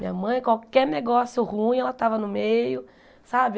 Minha mãe, qualquer negócio ruim, ela estava no meio, sabe?